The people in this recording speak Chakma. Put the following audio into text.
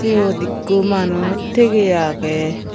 eyod ikko manuj tigey aagey.